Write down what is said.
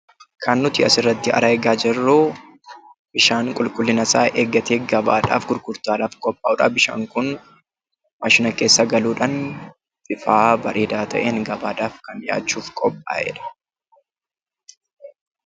Kan nuti asirratti argaa jirru bishaan qulqullina isaa eeggatee gabaadhaaf gurgurtaadhaaf qophaa'uu dha. Bishaan kun maashina keessa galuudhaan, bifa bareedaa ta'een gabaadhaaf kan dhiyaachuuf qophaa'ee dha.